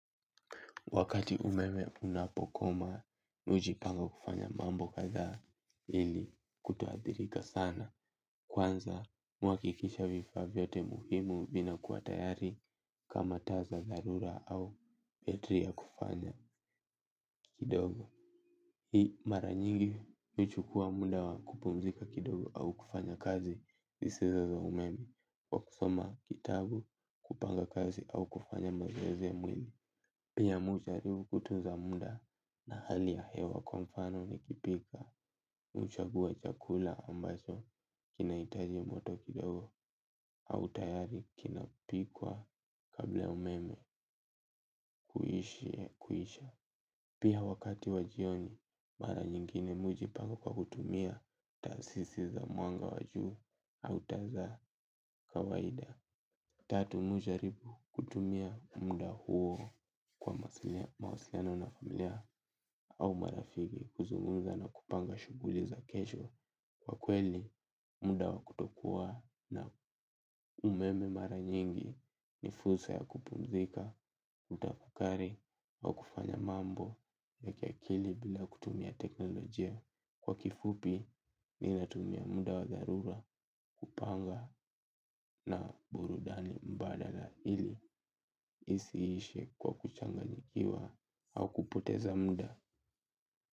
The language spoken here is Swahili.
Wakati umeme unapokoma, mi ujipanga kufanya mambo kadha hili kutoathirika sana. Kwanza, mwakikisha vifa vyote muhimu vina kuatayari kama taza dharura au betri ya kufanya kidogo. Hii mara nyingi, nuchukua muda wa kupumzika kidogo au kufanya kazi zisoza za umeme. Wakusoma kitabu kupanga kazi au kufanya mazowezi ya mwili. Pia mi hujaribu kutunza muda na hali ya hewa kwa mfano nikipika. Huchagua chakula ambacho kinahitaji moto kidogo au tayari kinapikwa kabla umeme kuisha. Pia wakati wa jioni mara nyingine mi hujipanga kwa kutumia taasisi za mwanga wa juu au taa za kawaida. Tatu mi hujaribu kutumia muda huo kwa mawasiliano na familia au marafiki kuzungumza na kupanga shughuli za kesho kwa kweli muda wa kutokua na umeme mara nyingi ni fursa ya kupumzika, kutafakari kwa kufanya mambo ya kiakili bila kutumia teknolojia. Kwa kifupi ninatumia muda wa dharura kupanga na burudani badala ili isiishe kwa kuchanganyikiwa au kupoteza muda.